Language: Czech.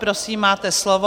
Prosím, máte slovo.